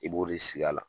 I b'o de sigi a la